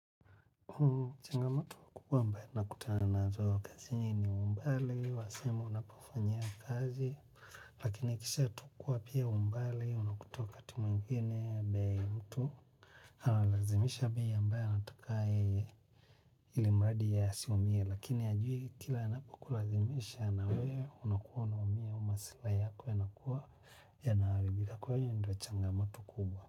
Changamatu kubwa mbae nakutaanazo kazi nini umbali, wasemo unapafanyia kazi, lakini kisha tukua pia umbali, unakutua kati mwengine, baya mtu, analazimisha bia mbae anatakai ili mbadi ya siumie, lakini ajui kila anapakulazimisha na we, unakuwa unamia umasilai yako yanakuwa yanawalibika kwa hiyo ndo changamatu kubwa.